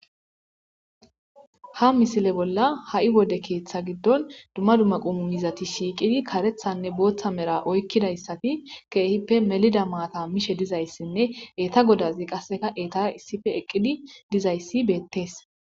ha misile bolla ha7i wode keeththa giddon dumma dumma qummo miizati shiiqidi karethanne booththa mera oykkidayssati keehippe melida maata mishe dizayssinne eeta godazi qasseka eeta issife eqqidi dizayssi beettees.